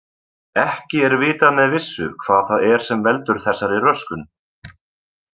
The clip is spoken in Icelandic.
Ekki er vitað með vissu hvað það er sem veldur þessari röskun.